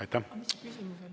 Aitäh!